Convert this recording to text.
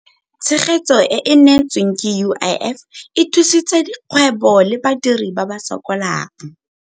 Tshegetso e e neetsweng ke UIF e thusitse dikgwebo le badiri ba ba sokolang.